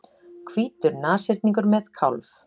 Hvítur nashyrningur með kálf.